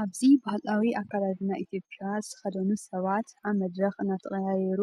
ኣብዚ ባህላዊ ኣከዳድና ኢትዮጵያን ዝተኸድኑ ሰባት ኣብ መድረኽ እናተቐያየሩ